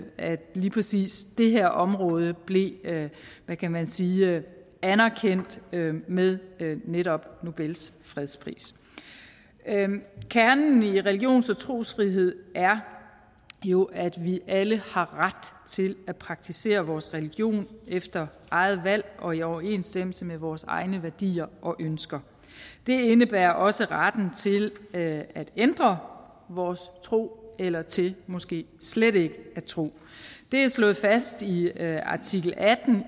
lige præcis det her område blev hvad kan man sige anerkendt med netop nobels fredspris kernen i religions og trosfrihed er jo at vi alle har ret til at praktisere vores religion efter eget valg og i overensstemmelse med vores egne værdier og ønsker det indebærer også retten til at ændre vores tro eller til måske slet ikke at tro det er slået fast i artikel atten